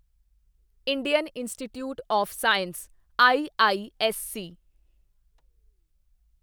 Indian institute of science IISc